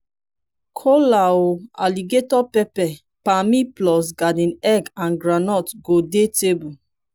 kola o alligator pepper pammy plus garden egg and groudnut go dey table